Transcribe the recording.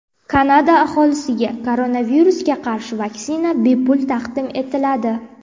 Kanada aholisiga koronavirusga qarshi vaksina bepul taqdim etiladi.